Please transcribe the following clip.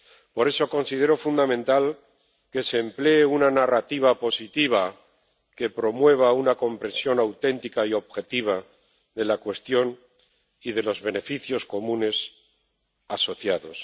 Por eso, considero fundamental que se emplee una narrativa positiva que promueva una comprensión auténtica y objetiva de la cuestión y de los beneficios comunes asociados.